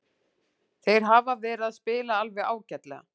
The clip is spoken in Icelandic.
Þeir hafa verið að spila alveg ágætlega.